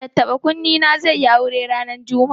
Tattaɓa-kunne na zai yi aure ranar Juma'a.